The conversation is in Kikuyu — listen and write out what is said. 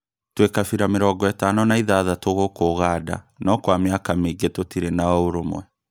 Twĩ kabira mĩrongo ĩtano na ithathatũ gũkũ Ũganda no Kwa mĩaka mĩingĩ tũtirĩ na ũrũmwe